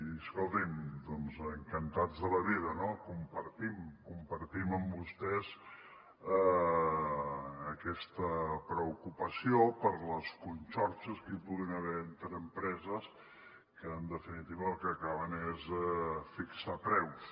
i escolti’m doncs encantats de la vida no compartim amb vostès aquesta preocupació per les conxorxes que hi puguin haver entre empreses que en definitiva el que acabaven és fixant preus